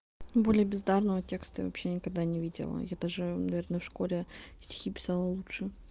более бездарного текста я вообще никогда не видела я даже наверное в школе стихи писала лучше